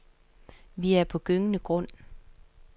Vi er på gyngende grund.